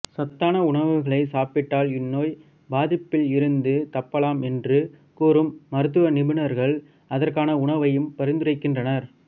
சத்தான உணவுகளை சாப்பிட்டால் இந்நோய் பாதிப்பில் இருந்து தப்பலாம் என்று கூறும் மருத்துவ நிபுணர்கள் அதற்கான உணவை பரிந்துரைக்கின்றனர்